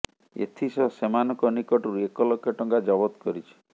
ଏଥିସହ ସେମାନଙ୍କ ନିକଟରୁ ଏକ ଲକ୍ଷ ଟଙ୍କା ଜବତ କରିଛି